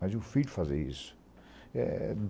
Mas o filho fazer isso? Eh...